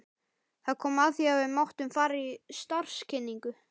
Það kom að því að við máttum fara í starfskynningu.